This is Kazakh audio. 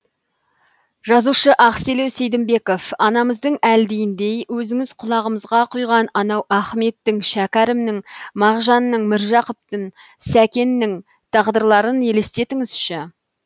жазушы ақселеу сейдімбеков анамыздың әлдиіндей өзіңіз құлағымызға құйған анау ахметтің шәкәрімнің мағжанның міржақыптың сәкеннің тағдырларын елестетіңізші